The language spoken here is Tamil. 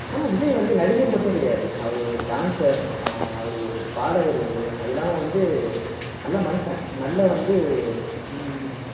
ஆனா விஜய் வந்து நடிகர் மட்டும் கிடையாது அவர் ஒரு dancer ஆஹ் அவரு ஒரு பாடகர் வந்து அது இல்லாம வந்து நல்ல மனுஷன் நல்ல வந்து உம் உம்